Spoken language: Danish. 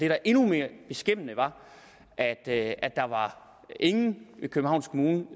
er endnu mere beskæmmende er at ingen i københavns kommune